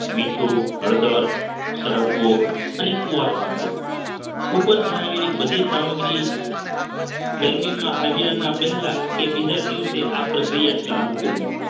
મીઠું હળદર સરગવો અને કુવારપાઠો ઉપર જણાવેલી બધી સામગ્રી ગરમીમાં આવ્યા ના પહેલા કે બીજા દિવસે આ પ્રક્રિયા ચાલુ કરવી